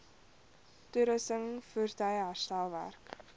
toerusting voertuie herstelwerk